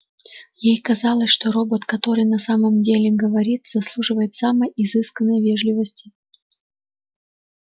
ей казалось что робот который на самом деле говорит заслуживает самой изысканной вежливости